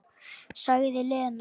Sagði Lena.